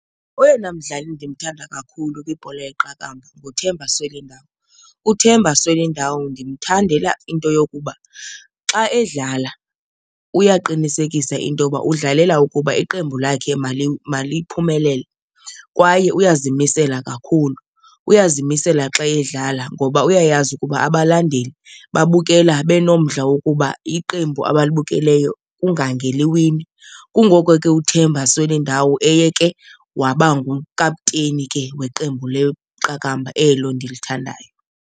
Oyena mdlali ndimthanda kakhulu kwibhola yeqakamba nguThemba Swelindawo. UThemba Swelindawo ndimthandela into yokuba xa edlala uyaqinisekisa into yoba udlalela ukuba iqembu lakhe maliphumelele kwaye uyazimisela kakhulu. Uyazimisela xa edlala ngoba uyayazi ukuba abalandeli babukela benomdla wokuba iqembu abalibukeleyo kungake liwine. Kungoko ke uThemba Swelindawo eye ke waba ngukapteyni ke weqembu leqakamba elo ndilithandayo.